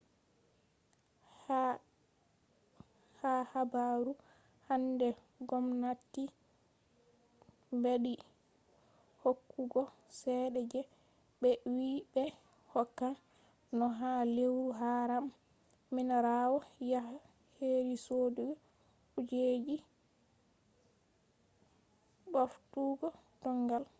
ha habaru hande gomnati ɓeddi hokkugo cede je ɓe wi ɓe hokkan no ha lewru haram minirawo yaha heri sodugo kujeji ɓoftugo dongal